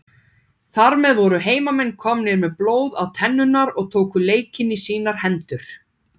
Þar með voru heimamenn komnir með blóð á tennurnar og tóku leikinn í sínar hendur.